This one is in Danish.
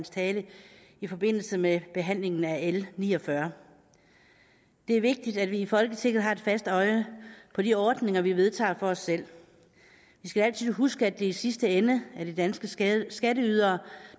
tale i forbindelse med behandlingen af l ni og fyrre det er vigtigt at vi i folketinget har et fast øje på de ordninger vi vedtager for os selv vi skal altid huske at det i sidste ende er de danske skatteydere